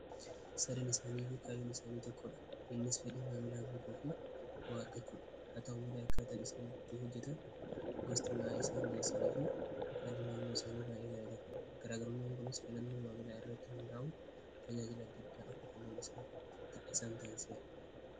sadin isaanii yuu kaa'im isaanii tokkodha hinnis fedhii maamilaa guutuu fi bo'aa argachuudha haa ta'uu malee akka atan isaanitti hojjetan gostiinaa isaan dhi'eessaniifi haddinaamnoo isaanii baayee gadatara karaagarmaangunis filannoo maamilaa irratti hundaa'un tajaajil addaddaa akitennan isaan ta'inseera